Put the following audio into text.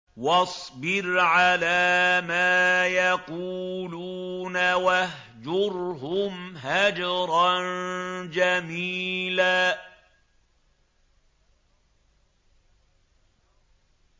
وَاصْبِرْ عَلَىٰ مَا يَقُولُونَ وَاهْجُرْهُمْ هَجْرًا جَمِيلًا